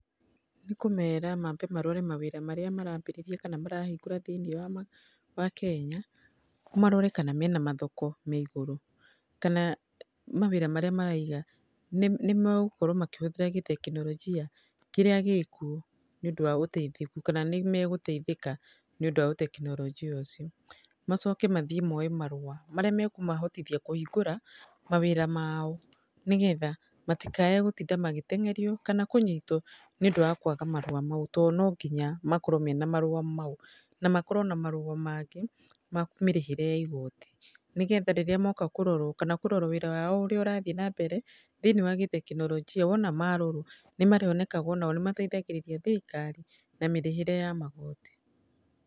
Nĩ kũmera mambe marore mawĩra marĩa marambĩrĩria kana marahingũra thĩiniĩ wa wa Kenya, marore kana mena mathoko me igũrũ. Kana mawĩra marĩa maraiga, nĩ nĩ megokorwo makĩhũthĩra gĩtekinoronjia kĩrĩa gĩ kuũ nĩ ũndũ wa ũteithĩku. Kana nĩ megũteithĩka nĩ ũndũ wa ũtekinoronjia ũcio. Macoke mathiĩ moe marũa, marĩa ma kũmahotithia kũhingũra, mawĩra mao nĩgetha, matikae gũtinda magĩteng'erio, kana kũnyitwo nĩ ũndũ wa kwaga marũa mau. To no nginya makorwo mena marũa mau. Na makorwo na marũa mangĩ, ma mĩrĩhĩre ya igooti. Nĩgetha rĩrĩa moka kũrorwo , kana kũrorwo wĩra wao ũrĩa ũrathiĩ na mbere, thĩiniĩ wa gĩtekinoronjia, wona marorwo, nĩ marĩonekaga onao nĩ mateithagĩrĩria thirikari, na mĩrĩhĩre ya magoti.